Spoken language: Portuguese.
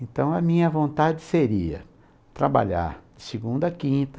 Então, a minha vontade seria trabalhar de segunda a quinta,